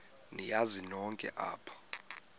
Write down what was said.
niyazi nonk apha